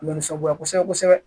U bɛ nisɔngoya kosɛbɛ kosɛbɛ